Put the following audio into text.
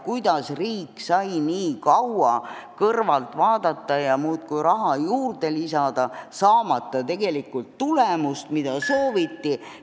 Kuidas riik sai nii kaua kõrvalt vaadata ja muudkui raha juurde lisada, saamata tegelikult tulemust, mida sooviti?